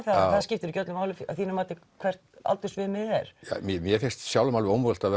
það skiptir ekki öllu máli að þínu mati hvað aldursviðmiðið er mér finnst sjálfum alveg ómögulegt að